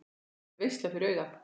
Það verður veisla fyrir augað.